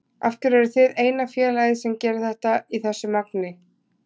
Af hverju eruð þið eina félagið sem gerir þetta í þessu magni?